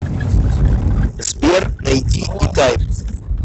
сбер найди и тайп